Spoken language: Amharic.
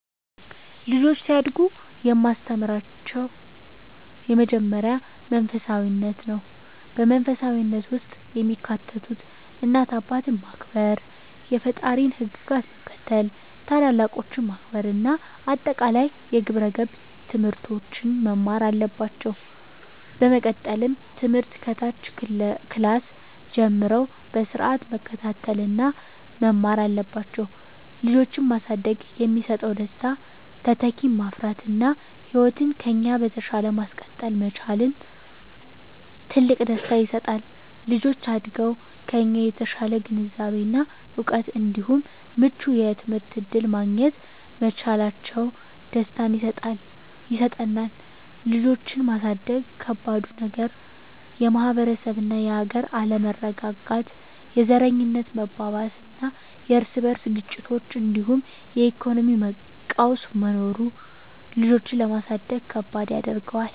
ልጆች ሲያድጉ የማስተምራቸው የመጀመሪያው መንፈሳፊነትን ነው። በመንፈሳዊነት ውስጥ የሚካተቱት እናት አባትን ማክበር፣ የፈጣሪን ህግጋት መከተል፣ ታላላቆችን ማክበር እና አጠቃላይ የግብረ ገብ ትምህርቶችን መማር አለባቸው። በመቀጠልም ትምህርት ከታች ክላስ ጀምረው በስርአት መከታተል እና መማር አለባቸው። ልጆችን ማሳደግ የሚሰጠው ደስታ:- - ተተኪን ማፍራት እና ህይወትን ከኛ በተሻለ ማስቀጠል መቻላችን ትልቅ ደስታ ይሰጣል። - ልጆች አድገው ከኛ የተሻለ ግንዛቤ እና እውቀት እንዲሁም ምቹ የትምህርት እድል ማግኘት መቻላቸው ደስታን ይሰጠናል። ልጆችን ማሳደግ ከባዱ ነገር:- - የማህበረሰብ እና የሀገር አለመረጋጋት፣ የዘረኝነት መባባስና የርስ በርስ ግጭቶች እንዲሁም የኢኮኖሚ ቀውስ መኖሩ ልጆችን ለማሳደግ ከባድ ያደርገዋል።